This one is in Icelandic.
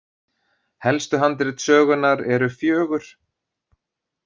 Helstu handrit sögunnar eru fjögur.